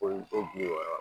bi wɔɔrɔ